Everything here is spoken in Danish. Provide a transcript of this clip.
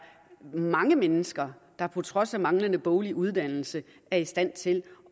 mange mennesker der på trods af manglende faglig uddannelse er i stand til